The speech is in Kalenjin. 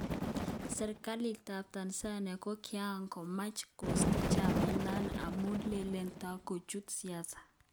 serkalit ap Tanzania ko kiangomach kosta chamait nano amun lele totkochut siasa.